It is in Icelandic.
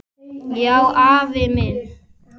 Já, afi minn.